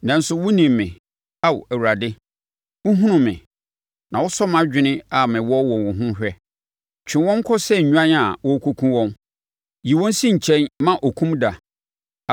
Nanso, wonim me, Ao Awurade; wohunu me, na wosɔ mʼadwene a mewɔ wɔ wo ho hwɛ. Twe wɔn kɔ sɛ nnwan a wɔrekɔkum wɔn! Yi wɔn si nkyɛn ma okum da!